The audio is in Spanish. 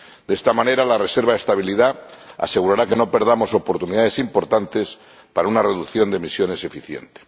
De esta manera, la reserva de estabilidad asegurará que no perdamos oportunidades importantes para una reducción de emisiones eficiente.